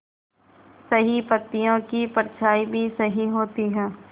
सही पत्तियों की परछाईं भी सही होती है